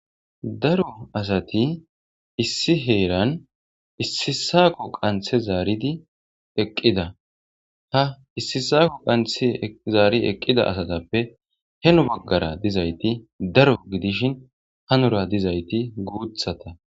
Daro asati issi heeran issisako qanthe zaaridi eqqida ha issisako qanthe zaari eqqida asatappe heno baggara dizayti daro gidishin hanora dizayti guuthata.